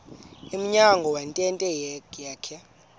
emnyango wentente yakhe